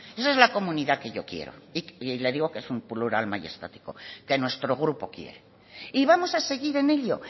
esa es la comunidad que yo quiero y le digo que es un plural mayestático que nuestro grupo quiere y vamos a seguir en ello